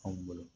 Anw bolo